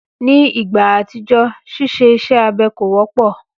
Ní ìgbà àtijọ́, ṣíṣe iṣẹ́ abẹ kò wọ́pọ̀